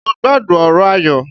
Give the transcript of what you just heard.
Mo gbádùn ọ̀rọ̀ Ayọ̀.